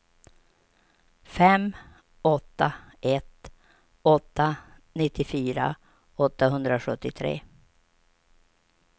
fem åtta ett åtta nittiofyra åttahundrasjuttiotre